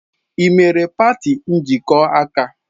Ị mere party njikọ aka?